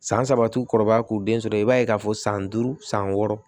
San saba u kɔrɔbaya k'u den sɔrɔ i b'a ye k'a fɔ san duuru san wɔɔrɔ